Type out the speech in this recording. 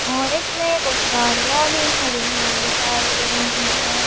और इसमें कुछ गाड़ियाँ भी खड़ी हुई दिखाई दे रही है।